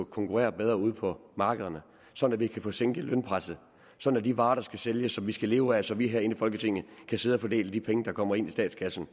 konkurrere bedre ude på markederne sådan at vi kan få sænket lønpresset sådan at de varer der skal sælges og vi skal leve af så vi herinde i folketinget kan sidde og fordele de penge der kommer ind i statskassen